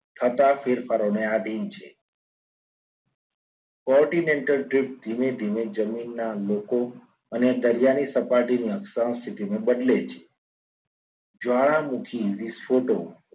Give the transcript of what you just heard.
થતા ફેરફારોને આધીન છે. quantinental drift ધીમે ધીમે જમીનના લોકો અને દરિયાની સપાટીની અક્ષાંશ સ્થિતિમાં બદલાય છે જ્વાળામુખી વિસ્ફોટો